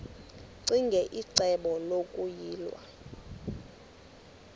ccinge icebo lokuyilwa